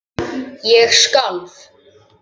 Ég skalf.